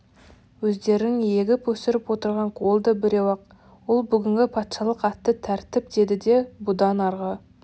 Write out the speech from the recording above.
өздерін егіп өсіріп отырған қол да біреу-ақ ол бүгінгі патшалық атты тәртіп деді де бұдан арғы